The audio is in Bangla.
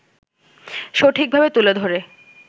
সঠিকভাবে তুলে ধরে